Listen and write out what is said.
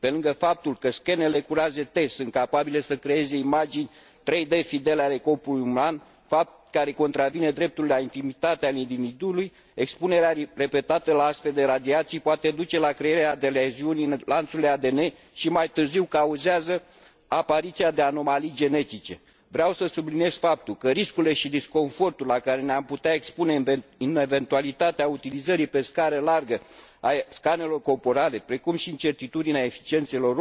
Pe lângă faptul că scanerele cu raze T sunt capabile să creeze imagini 3D fidele ale corpului uman, fapt care contravine dreptului la intimitatea individului, expunerea repetată la astfel de radiații poate duce la crearea de leziuni în lanțurile ADN și, mai târziu, cauzează apariția de anomalii genetice. Vreau să subliniez faptul că riscurile și disconfortul la care ne am putea expune în eventualitatea utilizării pe scară largă a scanerelor corporale, precum și incertitudinea eficienței lor,